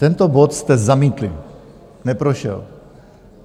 Tento bod jste zamítli, neprošel.